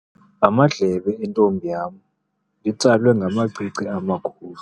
Amadlebe entombi yam litsalwe ngamacici amakhulu.